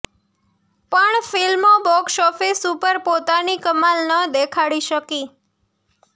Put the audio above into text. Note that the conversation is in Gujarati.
પણ ફિલ્મો બોક્સ ઓફીસ ઉપર પોતાની કમાલ ન દેખાડી શકી